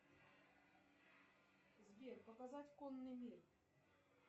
сбер показать конный мир